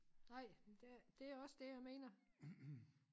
Nej det det også det jeg mener